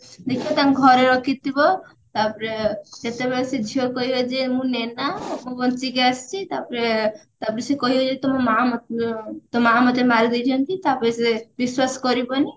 ଦିକ୍ଷା ତାଙ୍କ ଘରେ ରଖିଥିବ ତାପରେ ଯେତେବେଳେ ସେ ଝିଅ କହିବଯେ ମୁଁ ନୈନା ମୁଁ ବଞ୍ଚିକି ଆସିଛି ତାପରେ ତାପରେ ସେ କହିବେ ଯେତେବେଳେ ତୋ ମାଆ ତୋ ମାଆ ମୋତେ ମାରିଦେଇଛନ୍ତି ତାପରେ ସେ ବିଶ୍ଵାସ କରିବନି